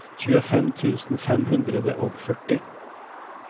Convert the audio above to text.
tjuefem tusen fem hundre og førti